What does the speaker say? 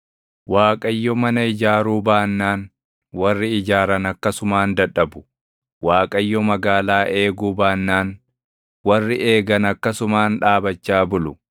Waaqayyo mana ijaaruu baannaan, warri ijaaran akkasumaan dadhabu. Waaqayyo magaalaa eeguu baannaan, warri eegan akkasumaan dhaabachaa bulu.